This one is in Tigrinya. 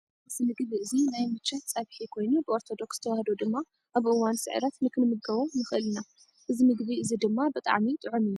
እዚ ምግብ እዚ ናይ ምቸት ፀብሒ ኮይኑ ብኦርተዶክስ ተዋህዶ ድማ ኣብ እዋን ስዕረት ንክንምገቦ ንክእል ኢና ። እዚ ምግቢ እዚ ድማ ብጣዕሚ ጥዑም እዩ።